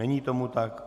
Není tomu tak.